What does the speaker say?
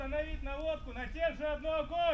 Hədəfi eynisinə qaytar, tək atəş.